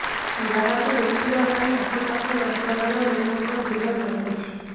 ଯାହାକୁ ଦେଖିବା ପାଇଁ ଆଖପାଖ ଅଞ୍ଚଳର ଲୋକଙ୍କ ଭିଡ ଜମୁଛି